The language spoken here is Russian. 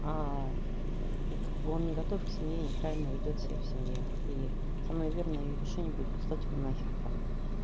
как бы он не готов к семье неправильно ведёт себя в семье и самое верное её решение будет послать его нахер прям